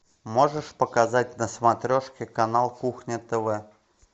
можешь показать на смотрешке канал кухня тв